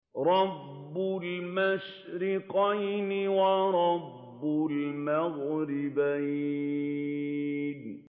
رَبُّ الْمَشْرِقَيْنِ وَرَبُّ الْمَغْرِبَيْنِ